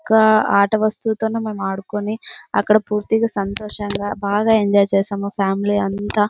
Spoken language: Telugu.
ఒక ఆట వస్తువులోని మనం ఆడుకుని అక్కడ పూర్తిగా సంతోషం గ బాగా ఎంజాయ్ చేసాము మా ఫామిలీ అంతా.